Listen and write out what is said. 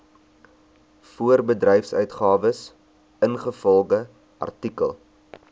voorbedryfsuitgawes ingevolge artikel